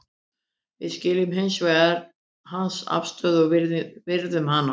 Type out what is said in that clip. Við skiljum hins vegar hans afstöðu og virðum hana.